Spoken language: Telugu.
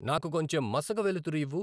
నాకు కొంచెం మసక వెలుతురు ఇవ్వు